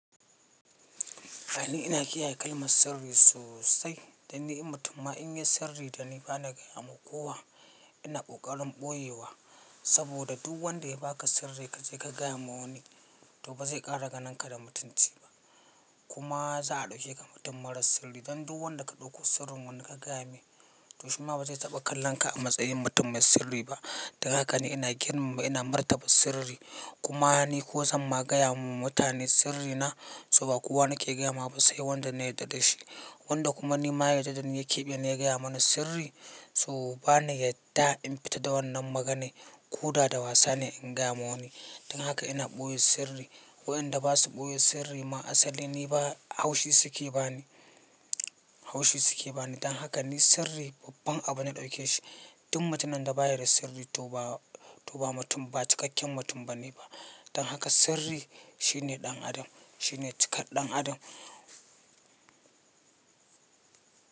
Ah ina kiyaye kalmar sirri sosai da ni mutum ma in yayi sirri da ni ba na gaya wa kowa. Ina ƙoƙarin ɓoyewa, saboda duk wanda ya baka sirri ka je ka gaya wa wani, to ba zai ƙara ganin ka da mutunci ba. Kuma za a ɗauke ka mutum marar sirri. Don duk wanda ka ɗauko sirrin wani ka gaya mai, to shi ma ba zai taɓa kallon ka a matsayin mutum mai sirri ba. Don haka ni ina girmama, ina martaba sirri. Kuma ni ko zan ma gaya wa mutane sirrina? To ba kowa nake gaya ma ba sai wanda na yarda da shi. Wanda kuma ni ma ya yadda ni ya keɓe ni ya gaya mani sirri, to ba ni yadda in fita da wannan maganar. Koda da wasa ne in gaya wa wani. Don haka ina ɓoye sirri. Waɗanda ba su ɓoye sirri ma asali ni ba haushi suke ba ni, haushi suke ba ni. Don haka ni sirri babban abu na ɗauke shi. Duk mutumin da ba ya da sirri to ba, to ba mutum, ba cikakken mutum ba ne ba. Don haka sirri shine ɗan adam, shine cikar ɗan adam.